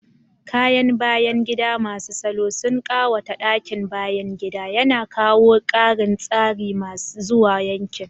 Kayan bayan gida masu salo sun ƙawata ɗakin bayan gida, yana kawo ƙarin tsari zuwa yankin.